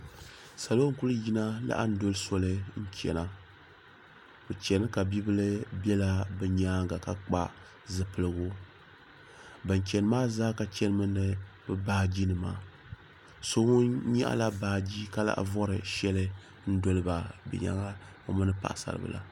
Salo n-kuli yina laɣim doli soli n-chana bɛ chani ka bibila bela bɛ nyaaŋa ka kpa zipiligu ban chani maa zaa ka chanimi ni bɛ baajinima so ŋun nyaɣila baaji ka lahi vori shɛli n-doli ba bɛ nyaaŋa o mini paɣisaribila.